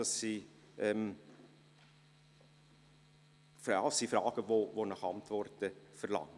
Dies sind Fragen, welche nach Antworten verlangen.